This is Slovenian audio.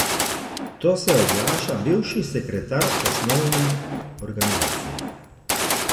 To se oglaša bivši sekretar osnovne organizacije.